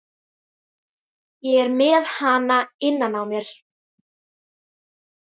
Ég er með hana innan á mér.